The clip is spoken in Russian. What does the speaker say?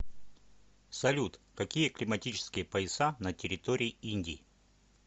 салют какие климатические пояса на территории индии